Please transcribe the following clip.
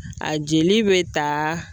A jeli bɛ ta